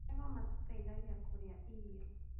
Magego matũteithagia kũrĩa irio